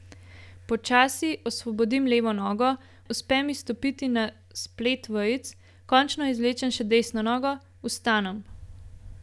Počasi osvobodim levo nogo, uspe mi stopiti na splet vejic, končno izvlečem še desno nogo, vstanem.